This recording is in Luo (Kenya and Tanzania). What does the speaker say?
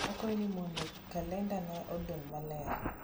akwayo ni mondo kalendana odong maler